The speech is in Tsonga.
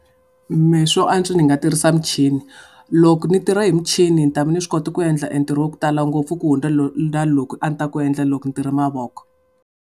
Mehe swo antswa ni nga tirhisa michini loko ni tirha hi michini ni ta ve ni swi kota ku endla entirho wa ku tala ngopfu ku hundza na lowu a ni ta wu endla loko ni tirha hi mavoko.